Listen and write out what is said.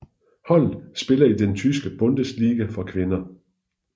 Holdet spiller i den tyske Bundesliga for kvinder